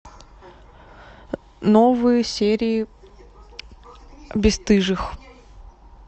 новые серии бесстыжих